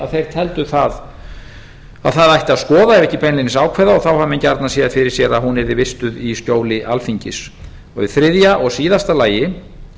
þeir teldu að það ætti að skoða ef ekki beinlínis ákveða þá hafa menn gjarnan séð fyrir sér að hún yrði vistuð í skjóli alþingis og í þriðja og síðasta lagi